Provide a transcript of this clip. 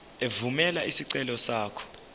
evumela isicelo sakho